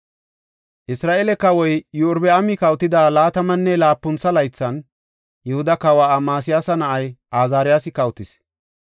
Isra7eele kawoy Iyorbaami kawotida laatamanne laapuntha laythan, Yihuda kawa Amasiyaasa na7ay Azaariyasi kawotis.